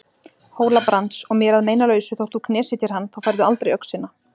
Hóla-Brands og mér að meinalausu þótt þú knésetjir hann, þá færðu aldrei öxina.